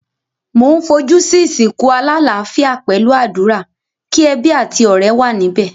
Mo n fojú si ìsìnkú alálafíà pẹ̀lu àdúrà, ki ebí àti ọ̀rẹ́ wa níbẹ̀.